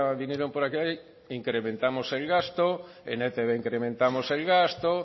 vinieron por aquí incrementamos el gasto en e i te be incrementamos el gasto